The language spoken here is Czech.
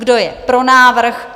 Kdo je pro návrh?